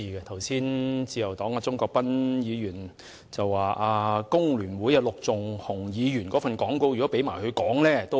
剛才自由黨鍾國斌議員說，工聯會陸頌雄議員的講稿若由他讀出，也無不可。